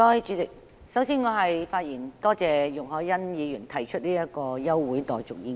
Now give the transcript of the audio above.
主席，首先，我要發言感謝容海恩議員提出這項休會待續議案。